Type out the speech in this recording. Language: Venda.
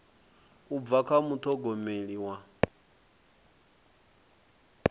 u bva kha muṱhogomeli wa